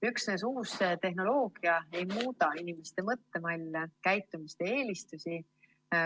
Üksnes uus tehnoloogia ei muuda inimeste mõttemalle, käitumist ja eelistusi.